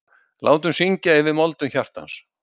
Látum syngja yfir moldum hjartans.